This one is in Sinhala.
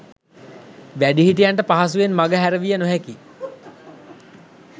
වැඩිහිටියන්ට පහසුවෙන් මගහැරවිය නොහැකියි.